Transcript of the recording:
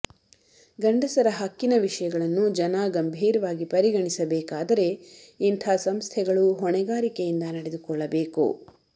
ಗಂಡಸರ ಹಕ್ಕಿನ ವಿಷಯಗಳನ್ನು ಜನ ಗಂಭೀರವಾಗಿ ಪರಿಗಣಿಸಬೇಕಾದರೆ ಇಂಥ ಸಂಸ್ಥೆಗಳು ಹೊಣೆಗಾರಿಕೆಯಿಂದ ನಡೆದುಕೊಳ್ಳಬೇಕು